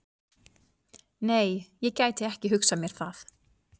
Nei, ég gæti ekki hugsað mér það.